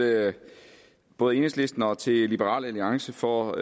både enhedslisten og til liberal alliance for